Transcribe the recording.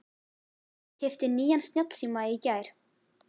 Ég keypti nýjan snjallsíma í gær.